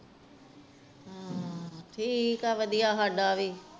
ਠੀਕ ਆ ਵਧੀਆ ਸਦਾ ਵੀ